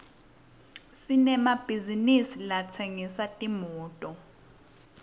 sinemabhizisi latsengisa timoto